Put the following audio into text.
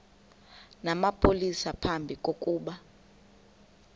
namapolisa phambi kokuba